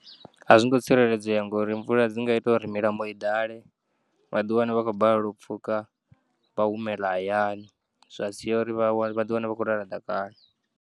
Azwingo tsireledzea ngauri mvula dzinga ita uri milambo iḓale, vhaḓieane vhakhoubalelwa upfukha vha humeḽa hayani zwasiya uri vhawa vha ḓiwane vha kho lala ḓakani.